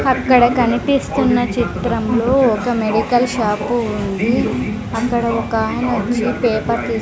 అక్కడ కనిపిస్తున్న చిత్రంలో ఒక మెడికల్ షాపు ఉంది అక్కడ ఒక ఆమె వచ్చి పేపర్ తీస్--